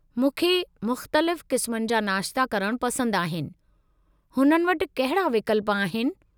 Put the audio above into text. मूंखे मुख़्तलिफ़ क़िस्मनि जा नाश्ता करणु पसंद आहिनि, हुननि वटि कहिड़ा विकल्प आहिनि?